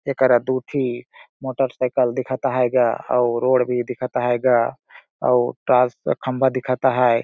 एकरा दु ठी मोटर साइकिल दिखत अहाय गा अउ रोड भी दिखत अहाय गा और ट्रांसफर खंभा दिखत हाय।